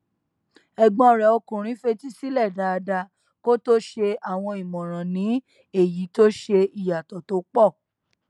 ẹgbọn rẹ ọkùnrin fetísílẹ dáadáa kó tó ṣe àwọn ìmọràn ní èyí tó ṣe ìyàtọ tó pọ